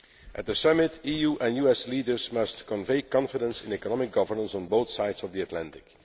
At the Summit, EU and US leaders must convey confidence in economic governance on both sides of the Atlantic.